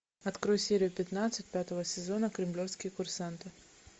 открой серию пятнадцать пятого сезона кремлевские курсанты